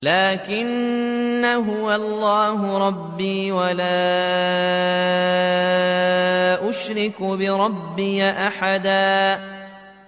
لَّٰكِنَّا هُوَ اللَّهُ رَبِّي وَلَا أُشْرِكُ بِرَبِّي أَحَدًا